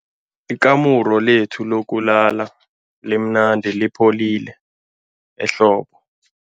Ikamuru lethu lokulala limnandi lipholile ehlobo.